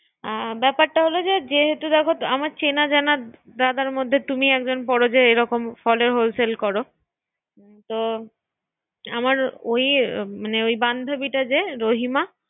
আ ব্যাপারটা হলো যে যেহেতু ব্যাপার চেনা জানা Brother মধ্যে তুমিই একজন পরো যে এরকম ফলের Hole sell কর। হ্যা- তো আমার ওই মানে ওই বান্ধুবিটা যে রহিমা